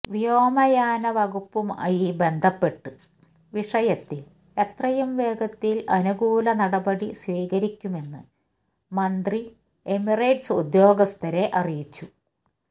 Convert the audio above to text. വ്യോമയാനവകുപ്പുമായി ബന്ധപ്പെട്ട് വിഷയത്തില് എത്രയും വേഗത്തിൽ അനുകൂല നടപടി സ്വീകരിക്കുമെന്ന് മന്ത്രി എമിറേറ്റ്സ് ഉദ്യോഗസ്ഥരെ അറിയിച്ചു